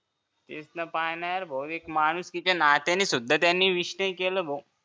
इथनं पाय ना भो माणुसकीच्या नात्याने सुद्धा त्यांनी wish नाही केलं